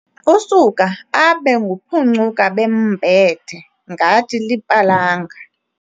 Usuka abe nguphuncuka-bembethe ngathi lipalanga.